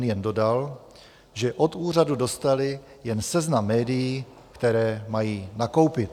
N jen dodal, že od úřadu dostali jen seznam médií, která mají nakoupit.